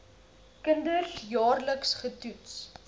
kinders jaarliks getoets